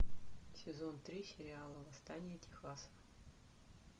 сезон три сериала восстание техаса